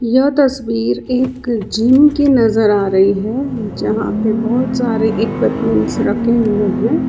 यह तस्वीर एक जिम की नजर आ रही है जहां पे बहोत सारे इक्यूमेंट रखे हुए हैं।